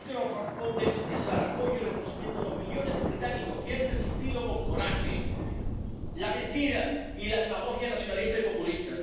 Sí que nos corresponde expresar apoyo y reconocimiento a los millones de británicos que han resistido con coraje la mentira y la demagogia nacionalista y populista.